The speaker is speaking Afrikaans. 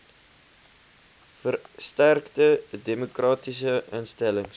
versterkte demokratiese instellings